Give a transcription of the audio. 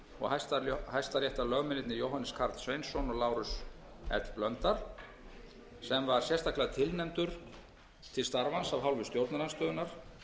utanríkisráðuneytinu og hæstaréttarlögmennirnir jóhannes karl sveinsson og lárus l blöndal sem var sérstaklega tilnefndur til starfans af hálfu stjórnarandstöðunnar